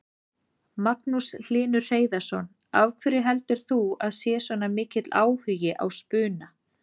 Magnús Hlynur Hreiðarsson: Af hverju heldur þú að sé svona mikill áhugi á spuna?